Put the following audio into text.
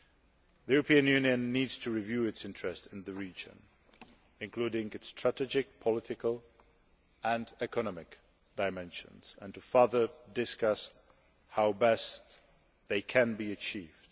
The European Union needs to review its interest in the region, including its strategic, political and economic dimensions, and to further discuss how best they can be achieved.